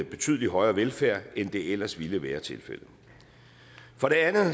betydelig højere velfærd end det ellers ville være tilfældet for det andet